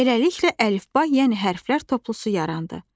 Beləliklə əlifba, yəni hərflər toplusu yarandı.